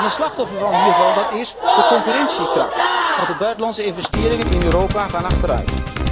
Een slachtoffer hiervan is de concurrentiekracht, want de buitenlandse investeringen in Europa gaan achteruit.